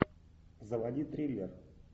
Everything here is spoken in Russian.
заводи триллер